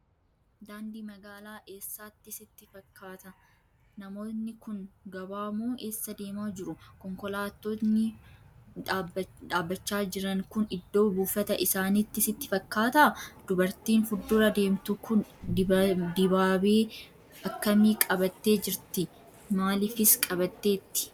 Daandii magaalaa eessaati sitti fakkaata? Namoonni kun gabaa moo eessa deemaa jiru? Konkolaattonni dhaabbachaa jiran kun iddoo buufata isaaniiti sitti fakkaataa? Dubartiin fuuldura deemtu kun dibaabee akkamii qabattee jirti? Maaliifis qabatteetti?